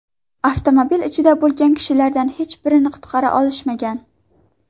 Avtomobil ichida bo‘lgan kishilardan hech birini qutqara olishmagan.